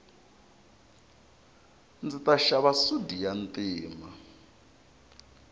ndzi ta xava sudi ya ntima